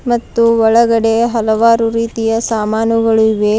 ಮತ್ತು ಒಳಗಡೆ ಹಲವಾರು ರೀತಿಯ ಸಾಮಾನುಗಳು ಇವೆ.